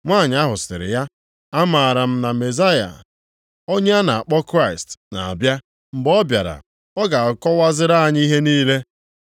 Nwanyị ahụ sịrị ya, “Amaara m na Mezaya” (onye a na-akpọ Kraịst) “na-abịa. Mgbe ọ bịara, ọ ga-akọwaziri anyị ihe niile.”